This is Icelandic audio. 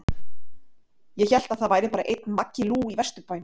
Ég hélt að það væri bara einn Maggi Lú í Vesturbænum?